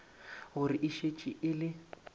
gore e šetše e le